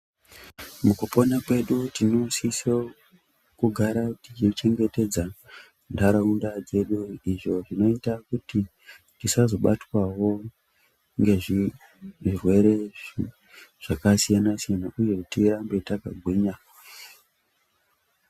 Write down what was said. Mukupona kwedu tinosisa kugara tichi chengetedza ndaraunda dzedu, izvo zvinoita kuti tisazobatwawo ngezvirwere zvakasiyana siyana uye kuti tirambe takagwinya.